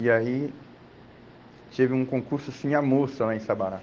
E aí, teve um concurso assim, a moça lá em Sabará.